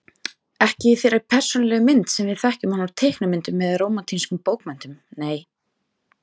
Ekki í þeirri persónulegu mynd sem við þekkjum hann úr teiknimyndum eða rómantískum bókmenntum, nei.